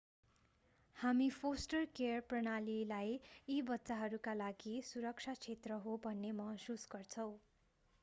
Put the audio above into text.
हामी foster care प्रणालीलाई यी बच्चाहरूका लागि सुरक्षा क्षेत्र हो भन्ने महसुस गर्छौँ